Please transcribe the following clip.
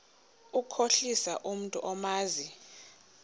ukukhohlisa umntu omazi